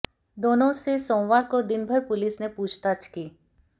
दोनों से सोमवार को दिनभर पुलिस ने पूछताछ की